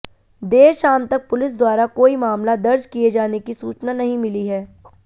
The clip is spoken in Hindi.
देर शाम तक पुलिस द्वारा कोई मामला दर्ज किए जाने की सूचना नहीं मिली है